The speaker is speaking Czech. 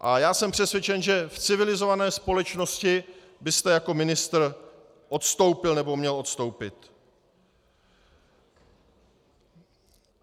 A já jsem přesvědčen, že v civilizované společnosti byste jako ministr odstoupil, nebo měl odstoupit.